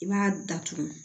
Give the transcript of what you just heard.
I b'a datugu